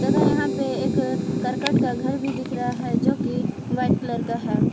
और यहां पे एक करकट का घर भी दिख रहा है जो कि वाइट कलर का है।